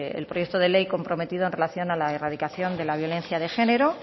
el proyecto de ley comprometido en relación de la erradicación de la violencia de género